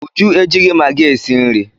Uju ejighị magị esi nri.